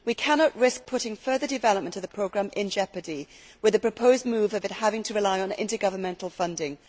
We cannot risk putting further development of the programme in jeopardy with a proposed move for it to have to rely on intergovernmentanl funding.